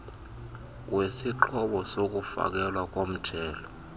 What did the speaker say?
wesixhobo sokufakelwa komjelo